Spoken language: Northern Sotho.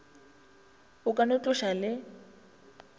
a ka no tloša le